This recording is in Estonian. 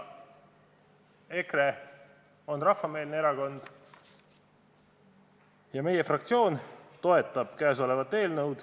EKRE on rahvameelne erakond ja meie fraktsioon toetab seda eelnõu.